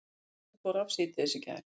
Rafmagnið fór af síðdegis í gær